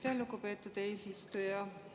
Aitäh, lugupeetud eesistuja!